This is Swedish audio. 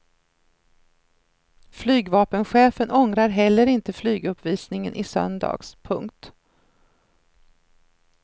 Flygvapenchefen ångrar heller inte flyguppvisningen i söndags. punkt